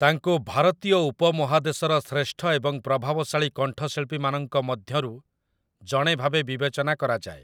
ତାଙ୍କୁ ଭାରତୀୟ ଉପମହାଦେଶର ଶ୍ରେଷ୍ଠ ଏବଂ ପ୍ରଭାବଶାଳୀ କଣ୍ଠଶିଳ୍ପୀମାନଙ୍କ ମଧ୍ୟରୁ ଜଣେ ଭାବେ ବିବେଚନା କରାଯାଏ ।